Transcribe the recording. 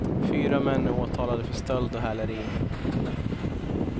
Fyra män är åtalade för stöld och häleri.